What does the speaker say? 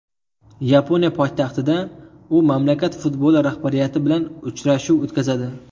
Yaponiya poytaxtida u mamlakat futboli rahbariyati bilan uchrashuv o‘tkazadi.